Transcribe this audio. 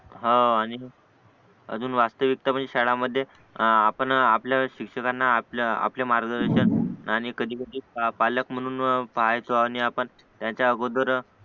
हा आणि अजून वाटे शाळांमध्ये आपण आपल्या शिक्षकाना आपले मार्गदर्शनआणि कधी कधी पालक म्हणून पाहायचो आणि आपण त्यांचा अगोदर